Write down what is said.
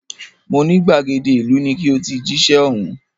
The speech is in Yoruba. Mo ní gbàgede ìlú ni ki o ti jíṣẹ́ ọ̀hún